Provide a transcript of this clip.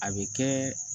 A bɛ kɛ